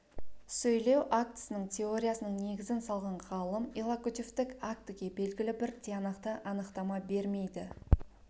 сөйлеу актісінің теориясының негізін салған ғалым иллокутивтік актіге белгілі бір тиянақты анықтама бермейді